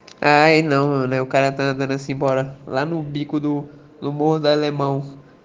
а на указанные бора ладно убери году любого далее маус